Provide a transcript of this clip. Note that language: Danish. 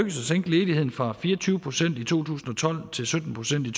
at sænke ledigheden fra fire og tyve procent i to tusind og tolv til sytten procent i